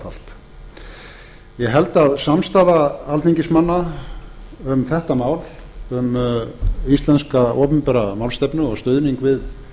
fatalt ég held að samstaða alþingismanna um þetta mál um íslenska opinbera málstefnu og stuðning við